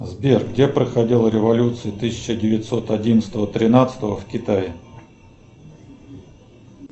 сбер где проходила революция тысяча девятьсот одиннадцатого тринадцатого в китае